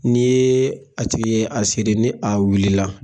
Ni a tigi y'a siri, ni a wulila la